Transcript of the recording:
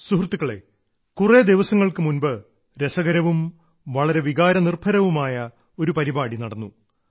സുഹൃത്തുക്കളെ കുറേ ദിവസങ്ങൾക്കു മുൻപ് രസകരവും വളരെ വികാരനിർഭരവുമായ ഒരു പരിപാടി നടന്നു